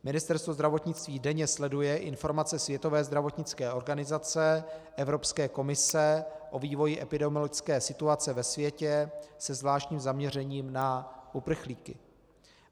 Ministerstvo zdravotnictví denně sleduje informace Světové zdravotnické organizace, Evropské komise o vývoji epidemiologické situace ve světě se zvláštním zaměřením na uprchlíky.